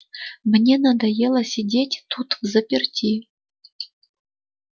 мне надоело сидеть тут взаперти